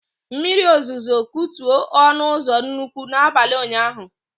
Mmiri ozuzo kutu ọnụ ụzọ nnukwu na abalị ụnyaahụ